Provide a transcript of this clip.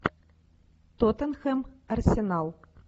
тоттенхэм арсенал